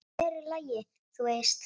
Hér er lagið, þú veist!